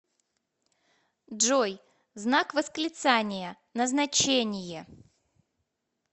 джой знак восклицания назначение